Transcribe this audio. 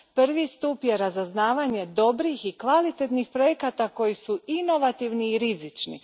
Prvi stup je razaznavanje dobrih i kvalitetnih projekata koji su inovativni i rizični.